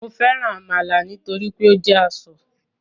Mo nifẹ amala nitori pe o jẹ asọ